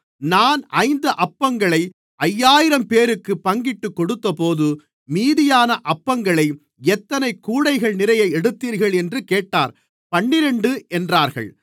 நான் ஐந்து அப்பங்களை ஐயாயிரம்பேருக்குப் பங்கிட்டுக்கொடுத்தபோது மீதியான அப்பங்களை எத்தனை கூடைகள்நிறைய எடுத்தீர்கள் என்று கேட்டார் பன்னிரண்டு என்றார்கள்